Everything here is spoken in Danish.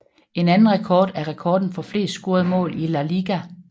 En anden rekord er rekorden for flest scorede mål i La Liga